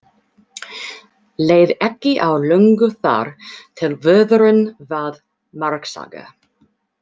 Leið ekki á löngu þar til vörðurinn varð margsaga.